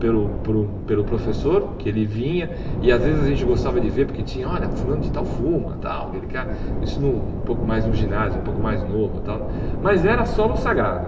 pelo por um pelo professor, que ele vinha, e às vezes a gente gostava de ver, porque tinha, olha, fulano de tal fuma, tal, aquele cara, isso no um pouco mais no ginásio, um pouco mais novo tal, mas era solo sagrado.